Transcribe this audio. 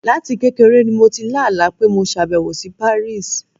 Láti kékeré ni mo ti lá àlá pé mo ṣàbẹ̀wò sí Paris.